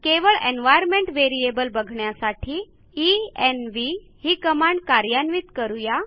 केवळ environment variable बघण्यासाठी env ही कमांड कार्यान्वित करू या